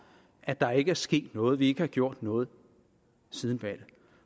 at der ikke er sket noget at vi ikke har gjort noget siden valget